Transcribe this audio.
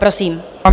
Prosím.